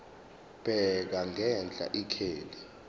bheka ngenhla ikheli